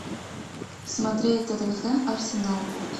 смотреть тоттенхэм арсенал